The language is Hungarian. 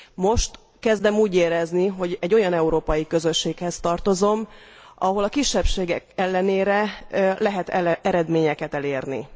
Most kezdem úgy érezni, hogy egy olyan európai közösséghez tartozom, ahol a kisebbségek ellenére lehet eredményeket elérni.